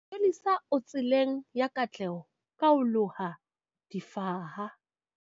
Yolisa o tseleng ya katleho ka ho loha difaha